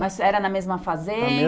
Mas era na mesma